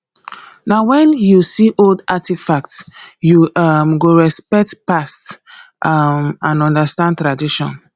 na wen you see old artifacts you um go respect past um and understand tradition